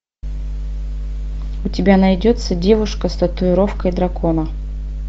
у тебя найдется девушка с татуировкой дракона